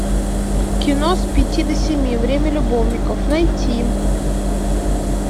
кино с пяти до семи время любовников найти